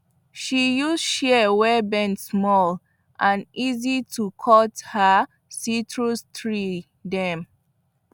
she use shears wey bend small and easy to hold cut her citrus tree dem